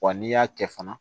Wa n'i y'a kɛ fana